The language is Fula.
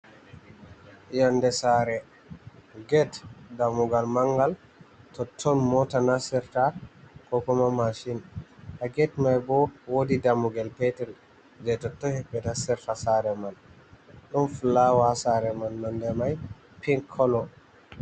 Yonnde saare, get dammugal manngal, totton moota nastirta ko kuma maacin. Haa get may bo, woodi dammugel peetel, jey totton himɓe nastirta saare man. Ɗum fulawa saare man, nonde may pin kolo.